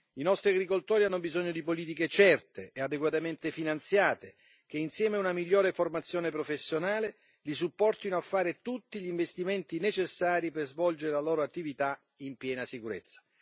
I nostri agricoltori hanno bisogno di politiche certe e adeguatamente finanziate che, insieme a una migliore formazione professionale, li supportino a fare tutti gli investimenti necessari per svolgere la loro attività in piena sicurezza.